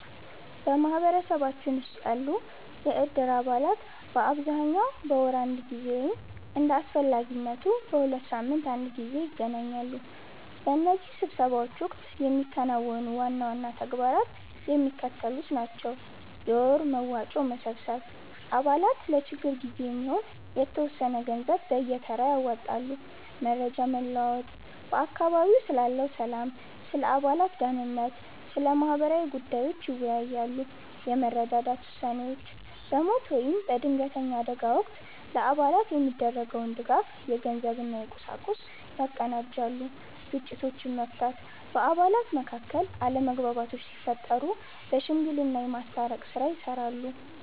በማኅበረሰባችን ውስጥ ያሉ የእድር አባላት በአብዛኛው በወር አንድ ጊዜ ወይም እንደ አስፈላጊነቱ በሁለት ሳምንት አንድ ጊዜ ይገናኛሉ። በእነዚህ ስብሰባዎች ወቅት የሚከናወኑ ዋና ዋና ተግባራት የሚከተሉት ናቸው፦ የወር መዋጮ መሰብሰብ፦ አባላት ለችግር ጊዜ የሚሆን የተወሰነ ገንዘብ በየተራ ያዋጣሉ። መረጃ መለዋወጥ፦ በአካባቢው ስላለው ሰላም፣ ስለ አባላት ደኅንነት እና ስለ ማህበራዊ ጉዳዮች ይወያያሉ። የመረዳዳት ውሳኔዎች፦ በሞት ወይም በድንገተኛ አደጋ ወቅት ለአባላት የሚደረገውን ድጋፍ (የገንዘብ እና የቁሳቁስ) ያቀናጃሉ። ግጭቶችን መፍታት፦ በአባላት መካከል አለመግባባቶች ሲፈጠሩ በሽምግልና የማስታረቅ ሥራ ይሠራሉ።